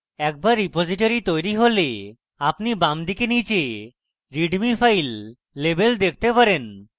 একবার repository তৈরী হলে আপনি বামদিকে নীচে readme file label দেখতে পারেন